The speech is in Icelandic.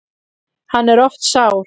Hann er oft sár.